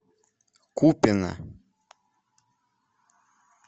купино